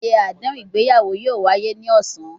Ayẹyẹ adehun igbeyawo yoo waye ni ọsan